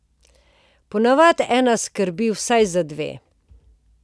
Ponavadi ena skrbi vsaj za dve.